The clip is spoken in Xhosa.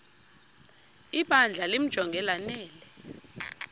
ibandla limjonge lanele